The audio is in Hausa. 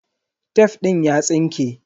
Tef din ya tsinke.